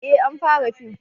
eh an fara fim